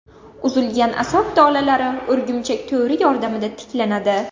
Uzilgan asab tolalari o‘rgimchak to‘ri yordamida tiklanadi.